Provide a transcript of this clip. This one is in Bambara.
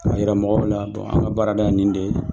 A yira mɔgɔw la dɔn an ka baarada ye nin de